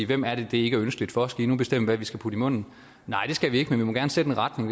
hvem er det det ikke er ønskeligt for og skal i nu bestemme hvad vi skal putte i munden nej det skal vi ikke men vi må gerne sætte en retning